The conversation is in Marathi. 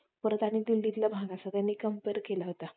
आणि परत दिल्लीतला भाग असा त्यांनी Compare केला होता